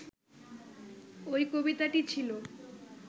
ওই কবিতাটি ছিল